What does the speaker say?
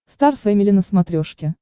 стар фэмили на смотрешке